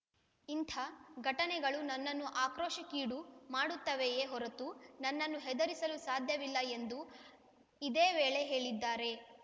ಇಂಥ ಘಟನೆಗಳು ನನ್ನನ್ನು ಆಕ್ರೋಶಕ್ಕೀಡು ಮಾಡುತ್ತವೆಯೇ ಹೊರತೂ ನನ್ನನ್ನು ಹೆದರಿಸಲು ಸಾಧ್ಯವಿಲ್ಲ ಎಂದು ಇದೇ ವೇಳೆ ಹೇಳಿದ್ದಾರೆ